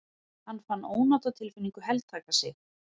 Hann fann ónotatilfinningu heltaka sig.